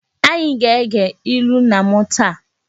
Anyị aga-ege ilu nna nna m taa!?